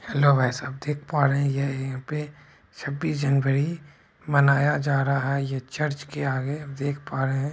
Hello भाई साहब देख पा रहे हैं यह यहां छबीस जनवरी मनाया जा रहा है चर्च के आगे देख पा रहे हैं।